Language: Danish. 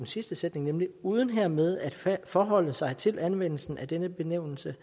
sidste sætning nemlig uden hermed at forholde sig til anvendelsen af denne benævnelse